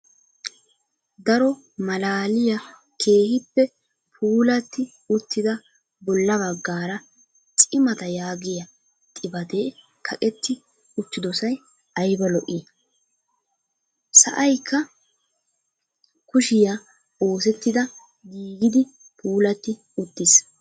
Daro malaaliyaa keehippe puulatti uuttida bolla baggaara cimataa yaagiyaa xifaatee kaaqetti uttidosay ayba lo"ii! sa'aykka kuushshiyaa oosettida giigidi puulatti uttiis.